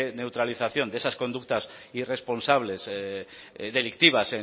neutralización de esas conductas irresponsables delictivas